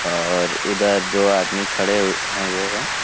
और इधर दो आदमी खड़े ह हुए हैं।